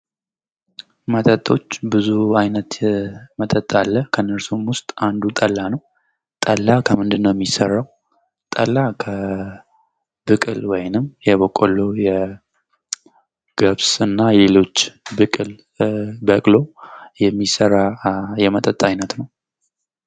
መጠጦች ብዙ አይነት መጠጥ አለ። ከነሱም ውስጥ አንዱ ጠላ ነው። ጠላ ከምንድነው የሚሰራው? ጠላ ከብቅል ወይንም የቦቀሎ፣ የገብስና ሌሎች ብቅል በቅሎ የሚሰራ የመጠጥ አይነት ነው።